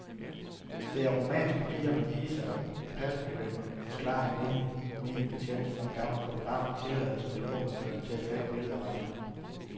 Det er rumænske piger med visa og pasproblemer, forklarede en venlig, menig betjent, som skaffede fotografen tilladelse hos gruppeføreren til at tage billeder af razziaen.